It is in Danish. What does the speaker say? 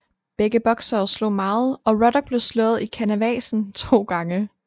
Begge boksere slog meget og Ruddock blev slået i canavasen 2 gange